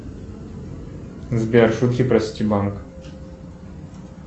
сбер шутки про ситибанк